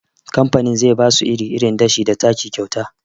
Kamfanin zai basu iri, irin dashe da taki kyauta